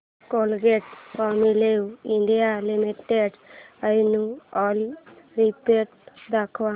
Colgate Palmolive India limited annual report दाखव